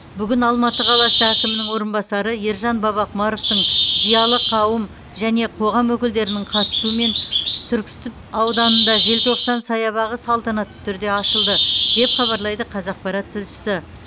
бүгін алматы қаласы әкімінің орынбасары ержан бабақұмаровтың зиялы қауым және қоғам өкілдерінің қатысуымен түркісіб ауданында желтоқсан саябағы салтанатты түрде ашылды деп хабарлайды қазақпарат тілшісі